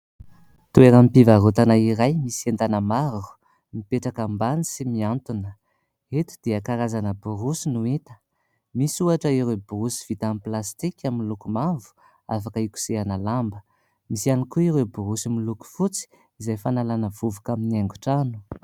Toeram-pivarotana iray misy entana maro mipetraka ambany sy mihantona. Eto dia karazana borosy no hita. Misy ohatra ireo borosy vita amin'ny plastika miloko mavo afaka ikosehana lamba. Misy ihany koa ireo borosy miloko fotsy izay fanalana vovoka amin'ny haingon-trano.